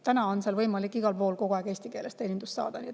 Täna on seal võimalik igal pool kogu aeg eesti keeles teenindust saada.